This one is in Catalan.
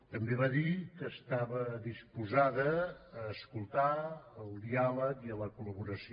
també va dir que estava disposada a escoltar al diàleg i a la col·laboració